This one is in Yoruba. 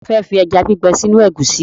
Ta ló fẹ́ fi ẹja gbígbẹ sínú ẹ̀gúsí?